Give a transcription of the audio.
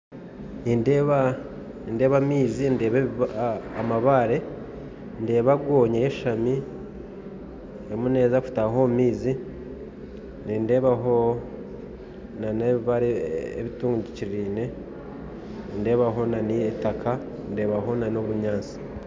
nindeeba amaizi ndeeba n'amabaare hamwe na goonya eyeshami eriyo neeza kutaaha omu maizi kandi ndeebaho n'ebibaare bitungikiriirine kandi ndeebamu itaka hamwe n'obunyaatsi